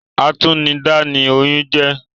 Atúnidá ni oyún jẹ́